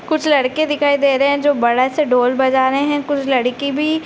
कुछ लड़के दिखाई दे रहे हैं जो बड़ा सा ढोल बजा रहे हैं | कुछ लड़की भी --